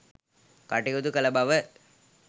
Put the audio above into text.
කටයුතු කළ බව